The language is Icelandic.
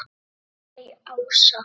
Laufey Ása.